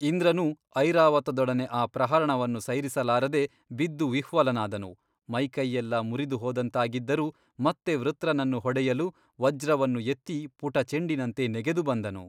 ಇಂದ್ರನೂ ಐರಾವತದೊಡನೆ ಆ ಪ್ರಹರಣವನ್ನು ಸೈರಿಸಲಾರದೆ ಬಿದ್ದು ವಿಹ್ವಲನಾದನು ಮೈಕೈಯೆಲ್ಲ ಮುರಿದುಹೋದಂತಾಗಿದ್ದರೂ ಮತ್ತೆ ವೃತ್ರನನ್ನು ಹೊಡೆಯಲು ವಜ್ರವನ್ನು ಎತ್ತಿ ಪುಟಚೆಂಡಿನಂತೆ ನೆಗೆದು ಬಂದನು.